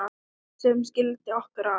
sem skildi okkur að